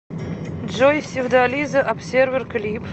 джой севдализа обсервер клип